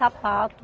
Sapato.